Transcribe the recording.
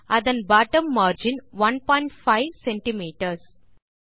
அதன் bottom margin 15 CMS